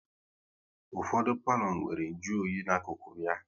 Ụfọdụ palo nwéré nju oyi n'akụkụ ya